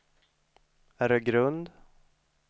Öregrund